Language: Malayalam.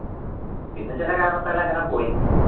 പിന്നെ ചിലകാരണത്താൽ അങ്ങനെ പോയി